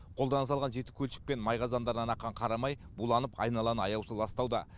қолдан жасалған жеті көлшік пен май қазандарынан аққан қара май буланып айналаны аяусыз ластауда